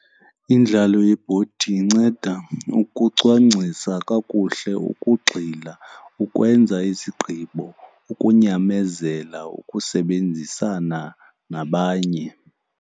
Indlalo yebhodi inceda ukucwangcisa kakuhle, ukugxila, ukwenza izigqibo, ukunyamezela, ukusebenzisana nabanye.